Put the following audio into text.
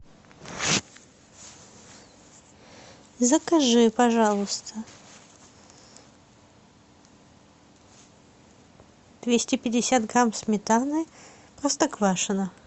закажи пожалуйста двести пятьдесят грамм сметаны простоквашино